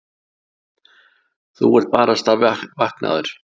Þú ert barasta vaknaður.